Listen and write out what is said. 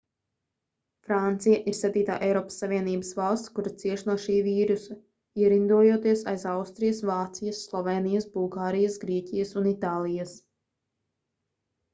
francija ir septītā eiropas savienības valsts kura cieš no šī vīrusa ierindojoties aiz austrijas vācijas slovēnijas bulgārijas grieķijas un itālijas